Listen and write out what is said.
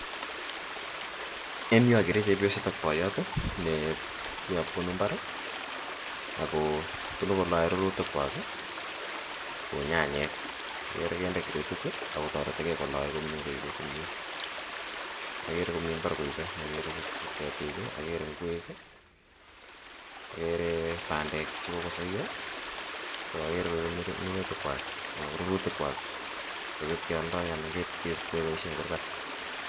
En yu okere chepyoset ak boyot neuon bunu imbar akobunu koloe rurutikwak kou nyanyek okere konde gradit okotoretige koloe komye koipee komyee okere komi imbar okere kabisa ketik ii okere inkwek ii okere bandek chekokosoyo so okere koipee minutikwak anan ko rurutikwak koipee kwoldo koib keboishen en kurgat.